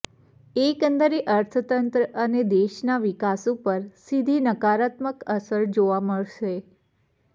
એકંદરે ર્અતંત્ર અને દેશના વિકાસ ઉપર સીધી નકારાત્મક અસર જોવા મળશે